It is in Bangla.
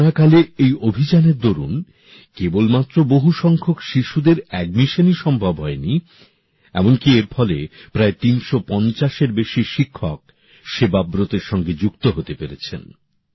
করোনাকালে এই অভিযানের দরুন কেবলমাত্র বহুসংখ্যক শিশুদের বিদ্যালয়ে ভর্তিই সম্ভব হয়নি এমনকি এর ফলে প্রায় ৩৫০ এর বেশি শিক্ষক সেবাব্রতের সঙ্গে যুক্ত হতে পেরেছেন